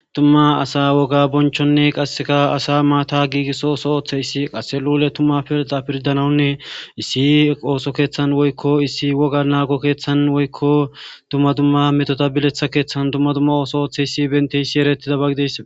tumma asa woga bonchonne qasseka asa maata giigisso oso ooththe issi qasse luule tumma pilta pirdanawunne issi ooso keeththan woykko issi woga naago keeththan woykko tumma dumma metota biletha keeththan tumma dumma ooso ooththe issi bente issi eretida bagides